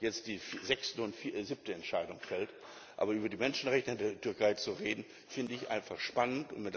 jetzt die sechste und siebte Entscheidung fallen. Aber über die Menschenrechte in der Türkei zu reden, finde ich einfach